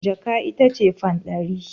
Jaka ita ce fan ɗari.